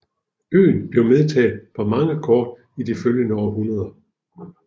Øen blev medtaget på mange kort i det følgende århundrede